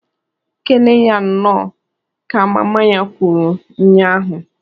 "Kenee ya Nnọọ!" ka mama ya kwuru nya ahụ.